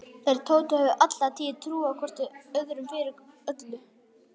Þeir Tóti höfðu alla tíð trúað hvor öðrum fyrir öllu.